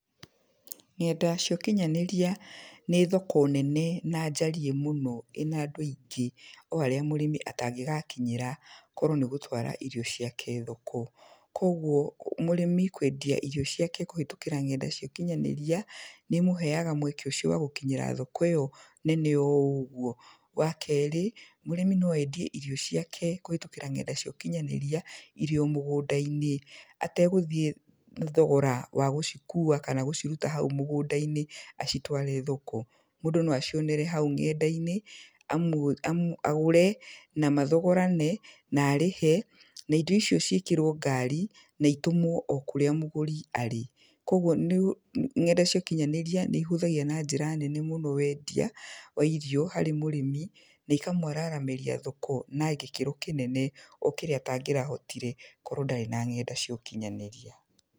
Ng'enda cia ũkinyanĩria nĩ thoko nene na njariĩ mũno ĩna andũ aingĩ o harĩa mũrĩmi atangĩgakinyĩra korwo nĩ gũtwara irio ciake thoko. Kũguo mũrĩmi kwendia irio ciake kũhĩtũkĩra ng'enda cia ũkinyanĩria, nĩ imũheaga mweke ũcio wa gũkinyĩra thoko ĩyo nene o ũguo. Wa keerĩ, mũrĩmi no endie irio ciake kũhĩtũkĩra ng'enda cia ũkinyanĩria, irĩ o mũgũnda-inĩ ategũthiĩ thogora wa gũcikuua kana gũciruta hau mũgũnda-inĩ acitware thoko. Mũndũ no acionere hau ng'enda-inĩ, agũre, na mathogorane, na arĩhe, na indo icio ciĩkĩrwo ngari, na itũmwo o kũrĩa mũgũri arĩ. Kũguo ng'enda cia ũkinyanĩria nĩ ihũthagia na njĩra nene mũno wendia, wa irio harĩ mũrĩmi, na ikamwaramĩria thoko na gĩkĩro kĩnene o kũrĩa atangĩrahotire korwo ndarĩ na ng'enda cia ũkinyanĩria.